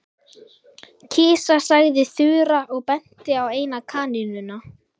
Kisa sagði Þura og benti á eina kanínuna.